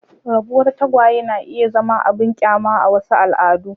Rabuwar tagwaye na iya zama abin kyama a wasu al'adun.